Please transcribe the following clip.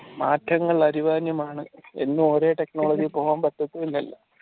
മാറ്റങ്ങൾ അനിവാര്യമാണ് എന്ന് ഓരോ technology പറ്റത്തു ഇല്ലല്ലോ